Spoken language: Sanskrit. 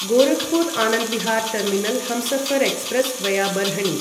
Gorakhpur Anand Vihar terminal Humsafar express via Barhni